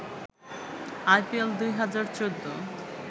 I P L ২০১৪